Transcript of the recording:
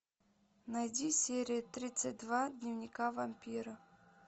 найди серия тридцать два дневника вампира